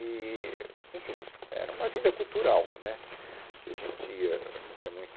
Eee, enfim, era uma vida cultural, né, que a gente ia ia muito